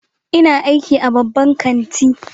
Ina aiki a babban kanti.